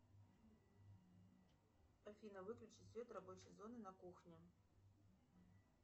афина выключи свет рабочей зоны на кухне